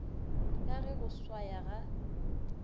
ka ge go swaya ga